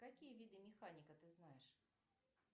какие виды механика ты знаешь